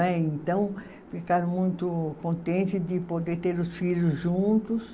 Né, então, ficaram muito contente de poder ter os filhos juntos.